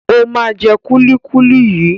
Ó máa jẹ kúlíkúlí yìí.